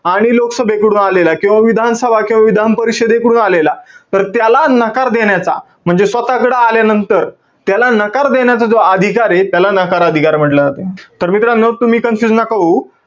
आणि लोकसभेकडून आलेला, किंवा विधानसभा किंवा विधानपरिषदेकडून आलेला, तर त्याला नकार देण्याचा, म्हणजे स्वतः कडे आल्यानंतर, त्याला नकार देण्याचा जो अधिकारे, त्याला नकार अधिकार म्हंटला जाते. तर मित्रांनो, तुम्ही confuse नका होऊ.